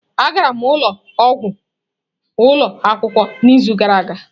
A gara m ụlọ ọgwụ ụlọ akwụkwọ n'izu gara aga.